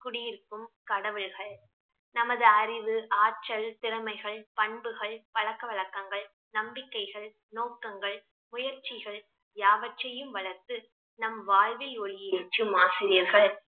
குடியிருக்கும் கடவுள்கள் நமது அறிவு, ஆற்றல், திறமைகள், பண்புகள், பழக்கவழக்கங்கள், நம்பிக்கைகள், நோக்கங்கள், முயற்சிகள், யாவற்றையும் வளர்த்து நம் வாழ்வில் ஒளி ஏற்றும் ஆசிரியர்கள்